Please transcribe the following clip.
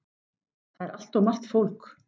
Það er allt of margt fólk!